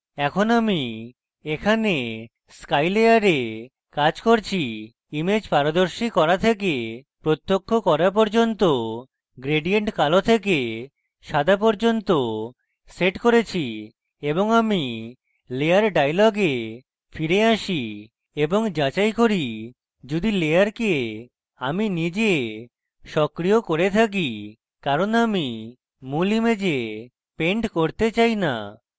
এখন আমি এখানে sky layer কাজ করছি image পারদর্শী করা থেকে প্রত্যক্ষ করা পর্যন্ত gradient কালো থেকে সাদা পর্যন্ত set করেছি এবং আমি layer dialog ফিরে আসি এবং যাচাই করি যদি layer আমি নিজে সক্রিয় করে থাকি কারণ আমি মূল image paint করতে চাই now